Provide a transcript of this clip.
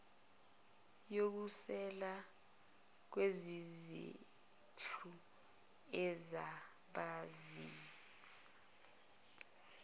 yokusekela kwezezindlu ezobasiza